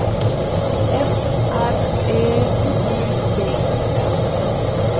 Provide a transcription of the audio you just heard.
F R Ö J D